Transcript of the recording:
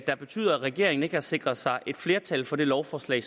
der betyder at regeringen ikke har sikret sig et flertal for det lovforslag